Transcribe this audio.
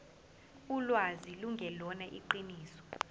ulwazi lungelona iqiniso